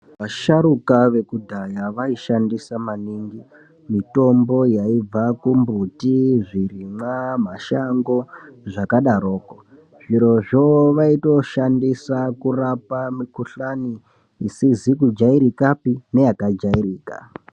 Vasharuka vekudhaya vaishandisa maningi mitombo yaibva kumbuti, zvirimwa, mashango zvakadaroko zvirozvo vaitoshandisa kurapa mikuhlani isizi kujairikapi neyakajairika.